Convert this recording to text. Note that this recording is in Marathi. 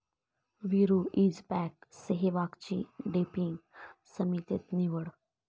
विरू' इज बॅक, सेहवागची डोपिंग समितीत निवड